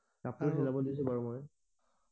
কাপোৰ চিলাবলে দিছো বাৰু মই